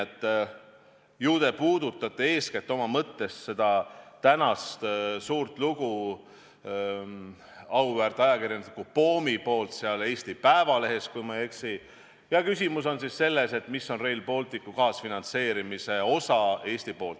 Ilmselt te puudutate eeskätt oma mõttes seda tänast suurt lugu auväärt ajakirjaniku Poomi sulest Eesti Päevalehes, kui ma ei eksi, ja küsimus on siis selles, mis on Rail Balticu Eesti kaasfinantseerimise osa.